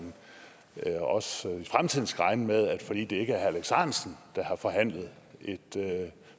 høre også sådan i fremtiden skal regne med at fordi det ikke er herre alex ahrendtsen der har forhandlet et